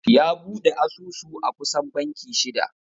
Ya bude asusu a kusan banki shida.